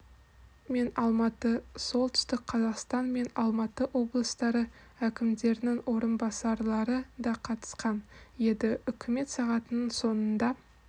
мен алматы солтүстік қазақстан мен алматы облыстары әкімдерінің орынбасарлары да қатысқан еді үкімет сағатының соңында